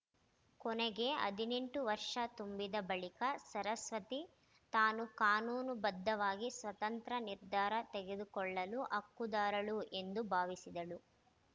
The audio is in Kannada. ಕೊನೆಗೆ ಹದಿನೆಂಟು ವರ್ಷ ತುಂಬಿದ ಬಳಿಕ ಸರಸ್ವತಿ ತಾನು ಕಾನೂನು ಬದ್ಧವಾಗಿ ಸ್ವತಂತ್ರ ನಿರ್ಧಾರ ತೆಗೆದುಕೊಳ್ಳಲು ಹಕ್ಕುದಾರಳು ಎಂದು ಭಾವಿಸಿದಳು